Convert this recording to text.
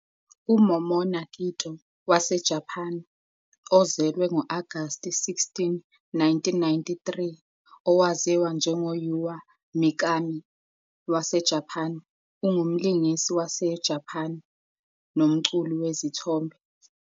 UMomona Kitō, waseJapan, ozelwe ngo-Agasti 16, 1993, owaziwa njengo-Yua Mikami, waseJapan, ungumlingisi waseJapan nomculi wezithombe.